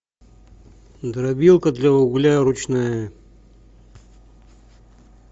дробилка для угля ручная